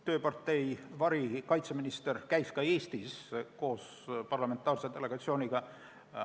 Tööpartei varikaitseminister käis ka Eestis koos parlamentaarse delegatsiooniga.